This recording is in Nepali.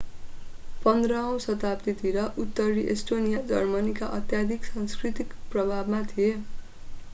15 औं शताब्दीतिर उत्तरी एस्टोनिया जर्मनीको अत्याधिक सांस्कृतिक प्रभावमा थियो